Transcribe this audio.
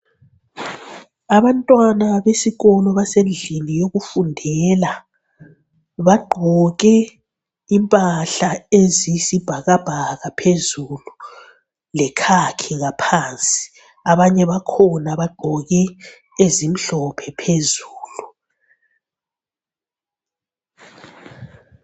Abantwana besikolo basendlini yokufundela. Bagqoke impahla eziyisibhakabhaka phezulu lekhakhi ngaphansi. Abanye bakhona bagqoke ezimhlophe phezulu.